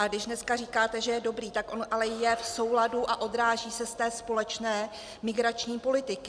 Ale když dneska říkáte, že je dobrý, tak on ale je v souladu a odráží se z té společné migrační politiky.